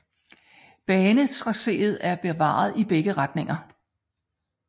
Banetracéet er bevaret i begge retninger